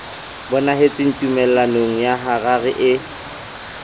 bonahetse tumellanong ya harare eo